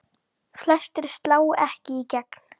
Flestir slá ekki í gegn.